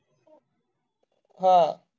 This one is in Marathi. हा